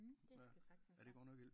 Mh det skal sagtens være